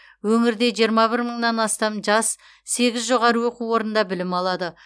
өңірде жиырма бір мыңнан астам жас сегіз жоғары оқу орнында білім алады